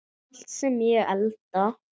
Allt sem ég elda.